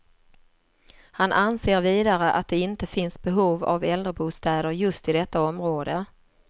Han anser vidare att det inte finns behov av äldrebostäder just i detta område.